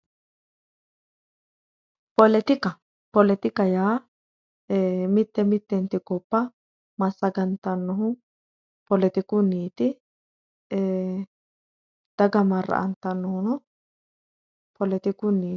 Poletika poletika yaa eee mitte mitte gobba massagantannohu poletikunniiti eee daga marra''antannohuno poletikunniiti.